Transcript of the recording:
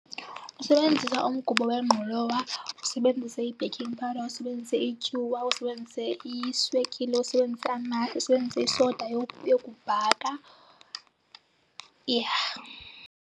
Usebenzisa umgubo wengqolowa, usebenzise i-baking powder, usebenzise ityuwa, usebenzise iswekile, usebenzise , usebenzise isoda yokubhaka, yha.